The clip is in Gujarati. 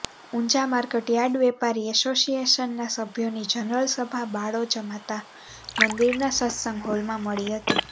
ઊંઝા માર્કટયાર્ડ વેપારી એસોસિએશનના સભ્યોની જનરલ સભા બાળોજમાતા મંદિરના સત્સંગ હોલમાં મળી હતી